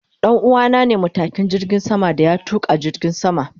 Danuwa na ne matukin jirgin sama da ya tuka jirgin sama.